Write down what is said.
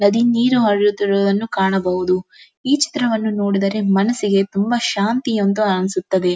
ನದಿ ನೀರು ಹರಿಯುತ್ತಿರುವುದನ್ನು ಕಾಣಬಹುದು ಈ ಚಿತ್ರವನ್ನು ನೋಡಿದರೆ ಮನಸ್ಸಿಗೆ ತುಂಬಾ ಶಾಂತಿಯಂತು ಅನ್ನಿಸುತ್ತದೆ.